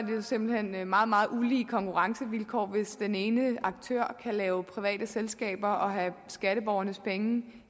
simpelt hen meget meget ulige konkurrencevilkår hvis den ene aktør kan lave private selskaber og have skatteborgernes penge